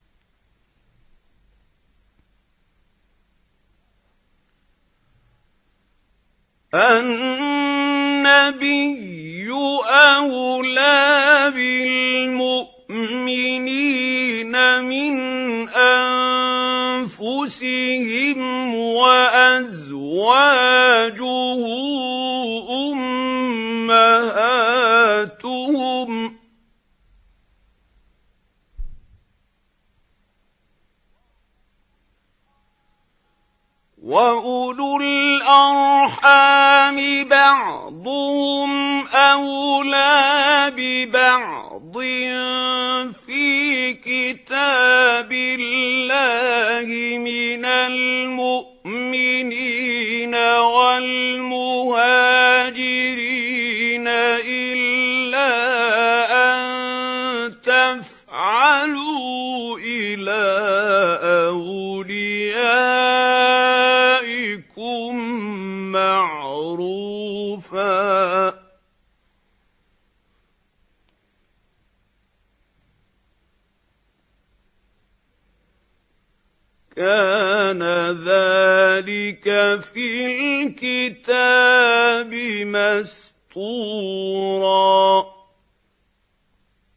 النَّبِيُّ أَوْلَىٰ بِالْمُؤْمِنِينَ مِنْ أَنفُسِهِمْ ۖ وَأَزْوَاجُهُ أُمَّهَاتُهُمْ ۗ وَأُولُو الْأَرْحَامِ بَعْضُهُمْ أَوْلَىٰ بِبَعْضٍ فِي كِتَابِ اللَّهِ مِنَ الْمُؤْمِنِينَ وَالْمُهَاجِرِينَ إِلَّا أَن تَفْعَلُوا إِلَىٰ أَوْلِيَائِكُم مَّعْرُوفًا ۚ كَانَ ذَٰلِكَ فِي الْكِتَابِ مَسْطُورًا